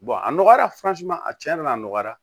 a nɔgɔyara a cɛnna a nɔgɔyara